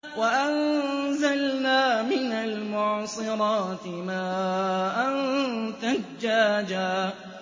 وَأَنزَلْنَا مِنَ الْمُعْصِرَاتِ مَاءً ثَجَّاجًا